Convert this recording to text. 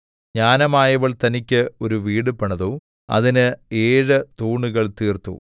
ജ്ഞാനമായവൾ തനിക്ക് ഒരു വീട് പണിതു അതിന് ഏഴ് തൂണുകൾ തീർത്തു